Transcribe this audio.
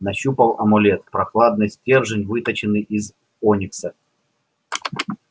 нащупал амулет прохладный стержень выточенный из оникса